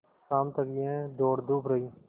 शाम तक यह दौड़धूप रही